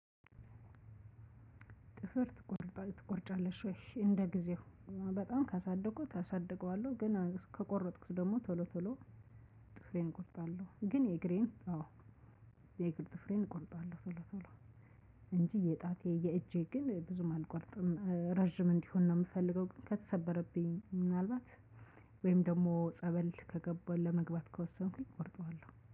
ጥፍር ትቆርጣ ትቆርጫለሽ ወይ? እሺ እንደጊዜው። በጣም ካሳደኩት አሳድገዋለሁ። ግን ከቆረጥኩት ቶሎ ቶሎ ጥፍሬ ቆርጣለሁ። ግን የእግሬን የእግር ጥፍሬን እቆርጣለሁ ቶሎ ቶሎ እንጂ የጣቴ የእጄ ግን ብዙም አልቆርጥም ረጅም እንዲሆን ነው የምፈልገው ግን ከተሰበረብኝ ምናልባት ወይም ደግሞ ጸበል ከገባሁ ለመግባት ከወሰንኩኝ ቆርጠዋለሁ።